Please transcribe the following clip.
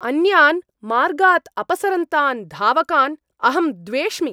अन्यान् मार्गात् अपसरन्तान् धावकान् अहं द्वेष्मि।